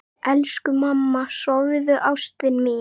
Elsku mamma, sofðu, ástin mín.